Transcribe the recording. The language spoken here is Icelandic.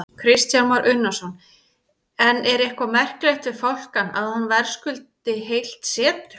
Kristján Már Unnarsson: En er eitthvað merkilegt við fálkann, að hann verðskuldi heilt setur?